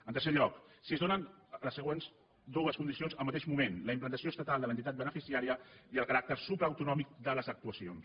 en tercer lloc si es donen les següents dues condici·ons al mateix moment la implantació estatal de l’en·titat beneficiària i el caràcter supraautonòmic de les actuacions